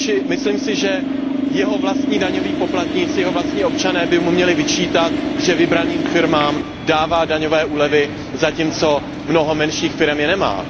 Myslím si, že jeho vlastní daňový poplatníci, jeho vlastní občané by mu měli vyčítat, že vybraným firmám dává daňové úlevy, zatímco mnoho menších firem je nemá.